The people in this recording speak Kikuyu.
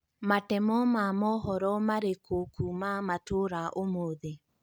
Matemo ma mohoro marĩkũ kuuma matũra ũmũthi